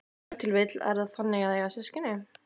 Ef til vill er það þannig að eiga systkin?